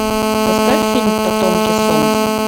поставь фильм потомки солнца